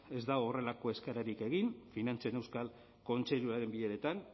ez dau horrelako eskaerarik egin finantzen euskal kontseiluaren bileretan